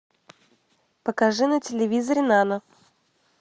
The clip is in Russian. покажи на телевизоре нано